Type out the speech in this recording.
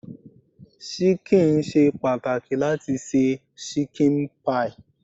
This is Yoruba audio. Ṣíkìn ṣe pàtàkì láti se ṣíkìn pie.